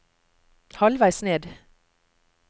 halvveis ned